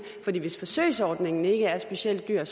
for hvis forsøgsordningen ikke er specielt dyr